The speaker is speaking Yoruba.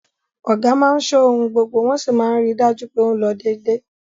Ọ̀gá máa ṣọ́ ohun gbogbo wọ́n sì máa ń ri dájú pé ó ń lọ dédé